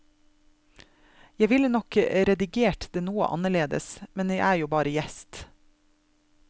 Jeg ville nok redigert det noe annerledes, men jeg er jo bare gjest.